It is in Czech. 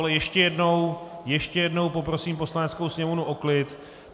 Ale ještě jednou, ještě jednou poprosím Poslaneckou sněmovnu o klid.